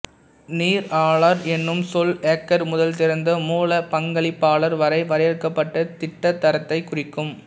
நீரலாளர் எனும் சொல் ஹேக்கர் முதல் திறந்த மூல பங்கலிப்பாளர் வரை வரையறுக்கப்பட்ட திட்டதரத்தை குறிக்கும்